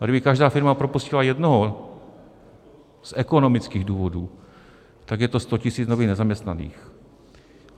A kdyby každá firma propustila jednoho z ekonomických důvodů, tak je to 100 tisíc nových nezaměstnaných.